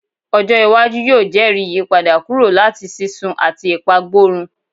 Ojo iwaju yoo jẹri iyipada kuro lati sisun ati ipagborun